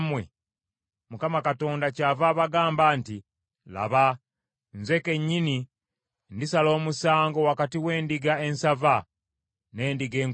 “‘ Mukama Katonda kyava abagamba nti, Laba, nze kennyini ndisala omusango wakati w’endiga ensava n’endiga enkovvu.